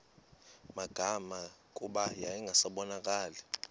magama kuba yayingasabonakali